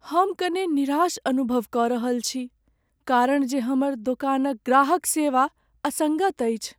हम कने निराश अनुभव कऽ रहल छी कारण जे हमर दोकानक ग्राहक सेवा असङ्गत अछि।